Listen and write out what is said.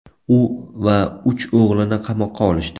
U va uch o‘g‘lini qamoqqa olishdi.